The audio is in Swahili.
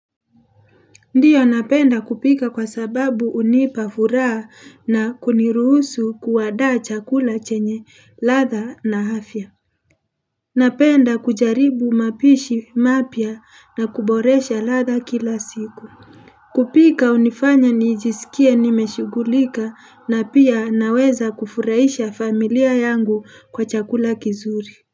Ndiyo napenda kupika kwa sababu unipa furaa na kuniruhusu kuwadaa chakula chenye latha na hafya. Napenda kujaribu mapishi mapia na kuboresha latha kila siku. Kupika unifanya nijisikie nimeshugulika na pia naweza kufuraisha familia yangu kwa chakula kizuri.